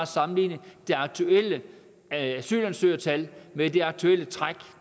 sammenligne det aktuelle asylansøgertal med det aktuelle træk